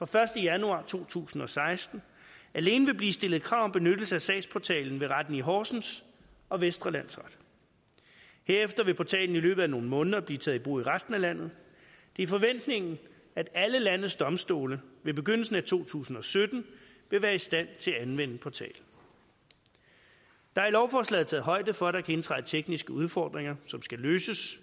første januar to tusind og seksten alene vil blive stillet krav om benyttelse af sagsportalen ved retten i horsens og vestre landsret herefter vil portalen i løbet af nogle måneder blive taget i brug i resten af landet det er forventningen at alle landets domstole ved begyndelsen af to tusind og sytten vil være i stand til at anvende portalen der er i lovforslaget taget højde for at der kan indtræde tekniske udfordringer som skal løses